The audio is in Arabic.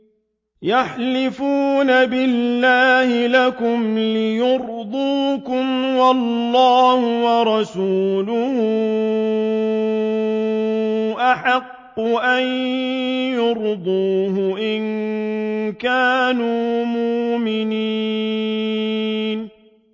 يَحْلِفُونَ بِاللَّهِ لَكُمْ لِيُرْضُوكُمْ وَاللَّهُ وَرَسُولُهُ أَحَقُّ أَن يُرْضُوهُ إِن كَانُوا مُؤْمِنِينَ